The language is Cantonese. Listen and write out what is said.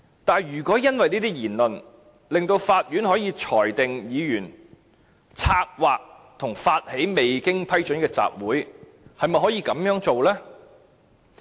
但是，如果因為這些言論，令法院可以裁定議員策劃和發起未經批准的集會，是不是可以這樣做呢？